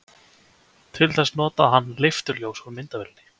til þess notaði hann leifturljós úr myndavél